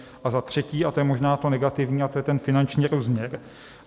A za třetí - a to je možná to negativní, a to je ten finanční rozměr.